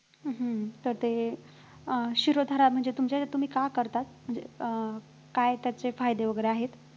हम्म हम्म तर ते अं शिरोधारा म्हणजे तुमच्यातुम्ही का करतात म्हणजे अं काय त्याचे फायदे वैगेरे आहेत?